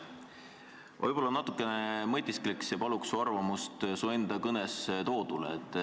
Võib-olla ma natuke mõtisklen ja palun su arvamust sinu kõnes toodu kohta.